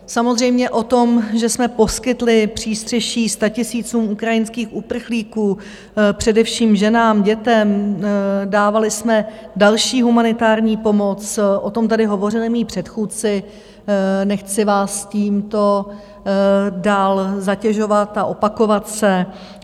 Samozřejmě o tom, že jsme poskytli přístřeší statisícům ukrajinských uprchlíků, především ženám, dětem, dávali jsme další humanitární pomoc, o tom tady hovořili moji předchůdci, nechci vás tímto dál zatěžovat a opakovat se.